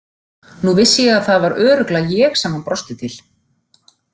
Nú vissi ég að það var örugglega ég sem hann brosti til.